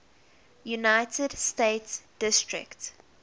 united states district